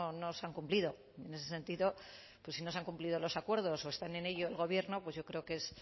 no se han cumplido en ese sentido pues si no se nos han cumplido los acuerdos o están en ello el gobierno pues yo creo que es